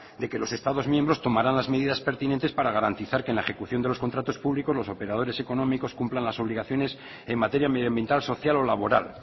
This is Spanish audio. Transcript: de que los estados miembros tomarán las medidas pertinentes para garantizar que en la ejecución de los contratos públicos los operadores económicos cumplan las obligaciones en materia medioambiental social o laboral